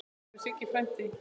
Elsku Siggi frændi.